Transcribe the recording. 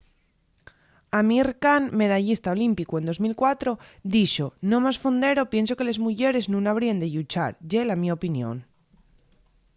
amir kahn medallista olímpicu en 2004 dixo no más fondero pienso que les muyeres nun habríen de lluchar. ye la mio opinión